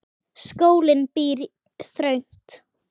Skólinn býr þröngt.